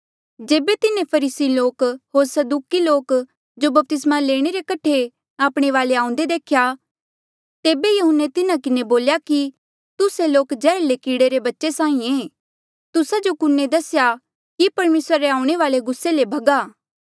जेबे तिन्हें फरीसी लोक होर सदूकी लोक जो बपतिस्मा लेणे रे कठे आपणे वाले आऊंदे देख्या तेबे यहून्ने तिन्हा किन्हें बोल्या कि तुस्से लोक जैहर्ले कीड़े रे बच्चे साहीं ऐें तुस्सा जो कुने दसेया कि परमेसरा रे आऊणें वाल्ऐ गुस्से ले भगा